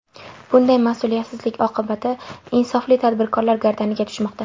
Bunday mas’uliyatsizlik oqibati insofli tadbirkorlar gardaniga tushmoqda.